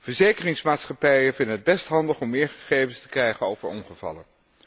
Verzekeringsmaatschappijen vinden het best handig om meer gegevens te krijgen over ongevallen.